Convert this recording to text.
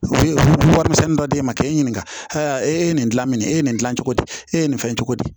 U bɛ warimisɛnnin dɔ d'e ma k'e ɲininka aa e ye nin dila nin ye e ye nin gilan cogo di e ye nin fɛn cogo di